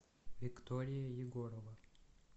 виктория егорова